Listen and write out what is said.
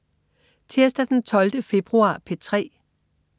Tirsdag den 12. februar - P3: